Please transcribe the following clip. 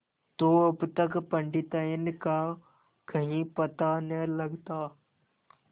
तो अब तक पंडिताइन का कहीं पता न लगता